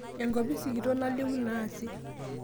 Enkopisi kitok nalimu naasi